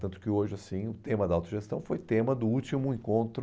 Tanto que hoje, assim, o tema da autogestão foi tema do último encontro